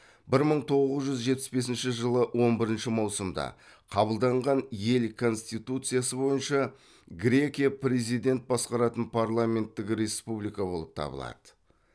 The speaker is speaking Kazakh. бір мың тоғыз жүз жетпіс бесінші жылы он бірінші маусымда қабылданған ел конституциясы бойынша грекия президент басқаратын парламенттік республика болып табылады